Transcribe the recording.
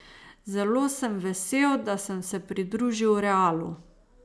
Zelo sem vesel, da sem se pridružil Realu.